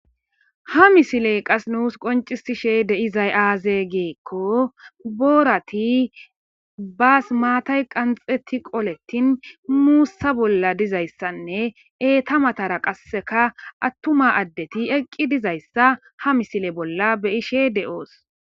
ha misiley qas nuus qoncisishe deizay aaze giikko boorati baas maatay qanxeti qoletin muussa bolla dizayssanne eeta matara qasseka attuma addeti eqqi dizayssa ha misile bolla beyishe de7oos